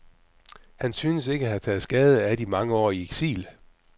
Han synes ikke at have taget skade af de mange år i eksil.